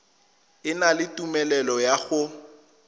na le tumelelo ya go